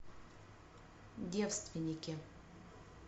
девственники